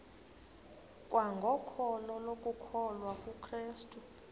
kwangokholo lokukholwa kukrestu